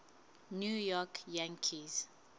new york yankees